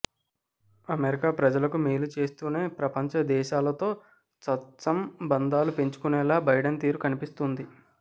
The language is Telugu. అమెరికా ప్రజలకు మేలు చేస్తూనే ప్రపంచ దేశాలతో సత్సంబంధాలు పెంచుకునేలా బైడెన్ తీరు కనిపిస్తోంది